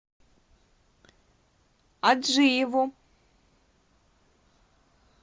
аджиеву